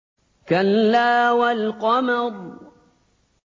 كَلَّا وَالْقَمَرِ